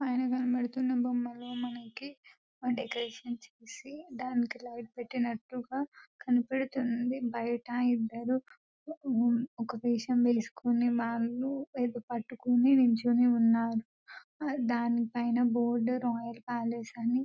పైన కనిపిస్తున్న బొమ్మలతో మనకి దానికి డెకరేట్ చేసి లైట్ పెట్టినట్టు గ కనిపిస్తుంది దానికి బయట ఒక వేషం వేసుకొని వాలు నిలుచొని ఉన్నారు దాని పైన రాయల్ అని బోర్డు రాసి ఉన్నది--